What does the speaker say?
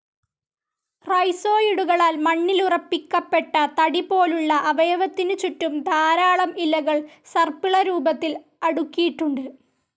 റൈസോയിടുകളാൽ മണ്ണിലുറപ്പിക്കപ്പെട്ട തടിപോലുള്ള അവയവത്തിനു ചുറ്റും ധാരാളം ഇലകൾ സർപ്പില രൂപത്തിൽ അടുക്കിയിട്ടുണ്ട്.